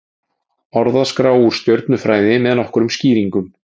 Orðaskrá úr stjörnufræði með nokkrum skýringum.